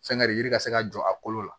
Fɛn kari yiri ka se ka jɔ a kolo la